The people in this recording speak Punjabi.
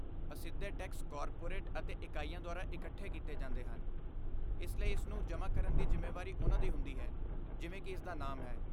ਅਸਿੱਧੇ ਟੈਕਸ ਕਾਰਪੋਰੇਟ ਅਤੇ ਇਕਾਈਆਂ ਦੁਆਰਾ ਇਕੱਠੇ ਕੀਤੇ ਜਾਂਦੇ ਹਨ, ਇਸ ਲਈ ਇਸ ਨੂੰ ਜਮ੍ਹਾ ਕਰਨ ਦੀ ਜ਼ਿੰਮੇਵਾਰੀ ਉਨ੍ਹਾਂ ਦੀ ਹੁੰਦੀ ਹੈ, ਜਿਵੇਂ ਕਿ ਇਸਦਾ ਨਾਮ ਹੈ।